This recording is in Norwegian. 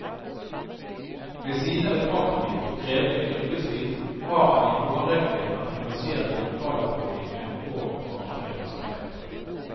Ved siden av et aktivt og krevende yrkesliv har han i en årrekke vært engasjert i lokalpolitikken og fagforeningsarbeid.